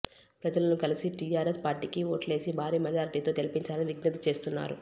ప్రజలను కలిసి టీఆర్ఎస్ పార్టీకి ఓట్లేసి భారీ మెజార్టీతో గెలిపించాలని విజ్ఞప్తి చేస్తున్నారు